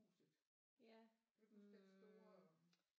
Huset kan du ikke huske den store